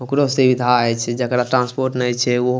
ओकरो सुविधा हेय छै जेकरा ट्रांसपोर्ट ने छै उ --